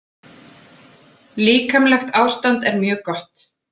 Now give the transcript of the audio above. Líkamlegt ástand er mjög gott.